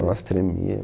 Nossa, tremia.